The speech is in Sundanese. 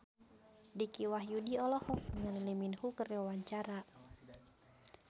Dicky Wahyudi olohok ningali Lee Min Ho keur diwawancara